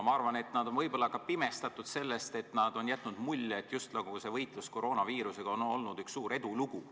Ma arvan, et nad on võib-olla ka pimestatud sellest, et on jätnud mulje, justnagu võitlus koroonaviirusega on olnud üks suur edulugu.